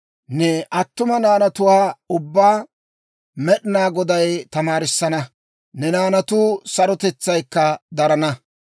Ne attuma naanatuwaa ubbaa Med'inaa Goday tamaarissana; ne naanatu sarotetsaykka darana.